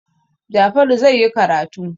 Jafaru zai yi karatu.